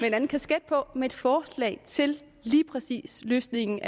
en anden kasket på og med et forslag til lige præcis løsningen